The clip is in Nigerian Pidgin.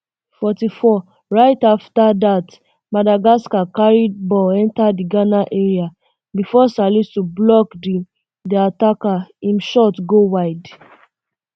forty-fourright um afta dat madagascar carry ball um enta di ghana area bifor salisu block di di attacker im shot go wide